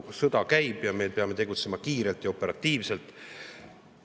Sõda käib ja me peame tegutsema kiirelt ja operatiivselt.